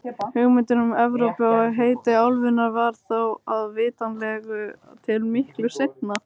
Hugmyndin um Evrópu og heiti álfunnar varð þó vitanlega til miklu seinna.